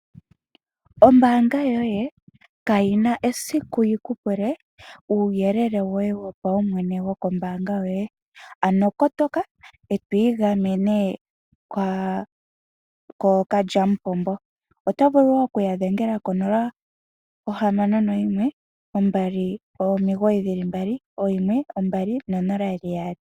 Ombaanga yoye kayi na esiku yikupule uuyelele woye wopaumwene wokombaanga yoye. Ano kotoka e to igamene kookalyamupombo. Oto vulu okuya dhengela ko 0612991200.